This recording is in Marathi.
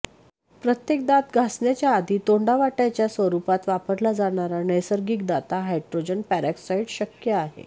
प्रत्येक दात घासण्याच्या आधी तोंडावाट्याच्या स्वरूपात वापरला जाणारा नैसर्गिक दाता हाड्रोजन पेरॉक्ससाईड शक्य आहे